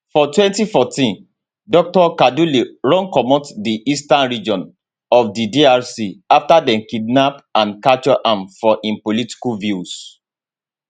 for 2014 dr kaduli run comot di eastern region of di drc afta dem kidnap and capture am for im political views